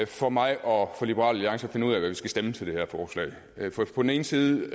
for mig og liberal alliance at finde ud af hvad vi skal stemme til det her forslag på den ene side